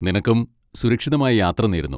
നിനക്കും സുരക്ഷിതമായ യാത്ര നേരുന്നു.